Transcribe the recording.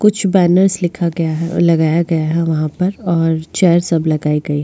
कुछ बॅनर्स लिखा गए लगाये गए है वहाँ पर और चेयर सब लगाये गए है।